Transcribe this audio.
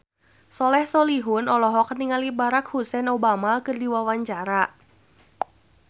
Soleh Solihun olohok ningali Barack Hussein Obama keur diwawancara